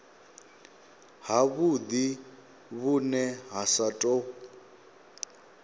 havhudi vhune ha sa tou